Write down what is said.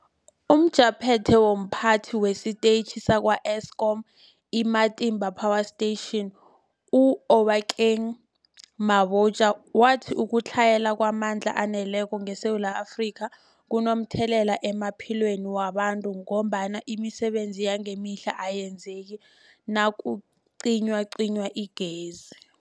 UmJaphethe womPhathi wesiTetjhi sakwa-Eskom i-Matimba Power Station u-Obakeng Mabotja wathi ukutlhayela kwamandla aneleko ngeSewula Afrika kunomthelela emaphilweni wabantu ngombana imisebenzi yangemihla ayenzeki nakucinywacinywa igezi.